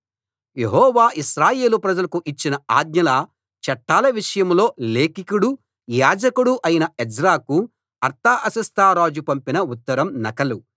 యెహోవా ఇశ్రాయేలు ప్రజలకు ఇచ్చిన ఆజ్ఞల చట్టాల విషయంలో లేఖికుడు యాజకుడు అయిన ఎజ్రాకు అర్తహషస్త రాజు పంపిన ఉత్తరం నకలు